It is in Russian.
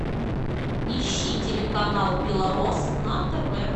ищи телеканал белрос на тв